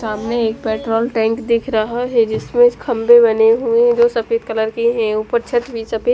सामने एक petrol tank दीख रहा है जिसमे खब्बे बने हुए है जो सफेद कलर के है उपर छत भी सफेद--